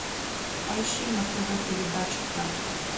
поищи на тв передачу пятый